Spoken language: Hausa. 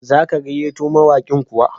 Za ka gayyato mawaƙin kuwa?